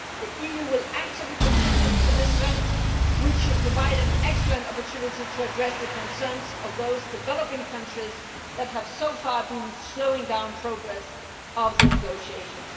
The EU will actively contribute to this event, which should provide an excellent opportunity to address the concerns of those developing countries that have so far been slowing down the progress of the negotiations.